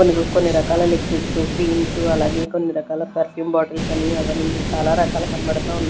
కొన్ని రకాల liquids creams అలాగే కొన్ని రకాల పర్ఫ్యూమ్ బాటిల్స్ అని అవని చాలా రకాలు కనబడతా ఉన్నాయ్--